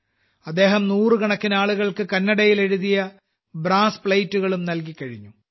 അദ്ദേഹം നൂറുകണക്കിന് ആളുകൾക്ക് കന്നടയിൽ എഴുതിയ ബ്രാസ് പ്ലേറ്റ് കളും നൽകി കഴിഞ്ഞു